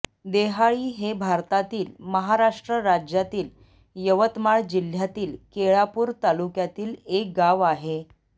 देहाळी हे भारतातील महाराष्ट्र राज्यातील यवतमाळ जिल्ह्यातील केळापूर तालुक्यातील एक गाव आहे